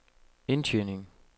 indtjening